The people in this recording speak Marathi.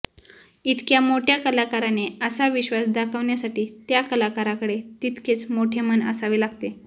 इतक्या मोठ्या कलाकाराने असा विश्वास दाखवण्यासाठी त्या कलाकाराकडे तितकेच मोठे मन असावे लागते